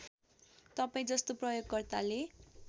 तपाईँ जस्तो प्रयोगकर्ताले